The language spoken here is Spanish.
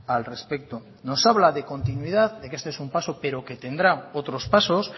al respecto nos habla de continuidad de que esto es un paso pero que tendrá otros pasos